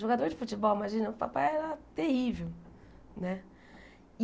Jogador de futebol, imagina, o papai era terrível, né? E